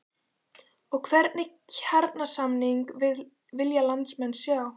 Og hvernig kjarasamninga vilja landsmenn sjá?